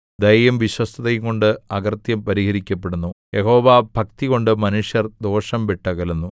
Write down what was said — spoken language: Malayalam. ദയയും വിശ്വസ്തതയുംകൊണ്ട് അകൃത്യം പരിഹരിക്കപ്പെടുന്നു യഹോവാഭക്തികൊണ്ട് മനുഷ്യർ ദോഷം വിട്ടകലുന്നു